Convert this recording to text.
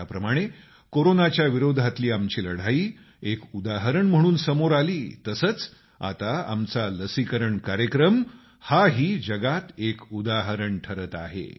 ज्याप्रमाणे कोरोनाच्या विरोधातली आमची लढाई एक उदाहरण म्हणून समोर आली तसंच आता आमचा लसीकरण कार्यक्रम हा ही जगात एक उदाहरण ठरत आहे